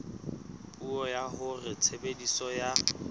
puo ya hore tshebediso ya